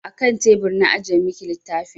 A kan tebur na ajiye miki littafin.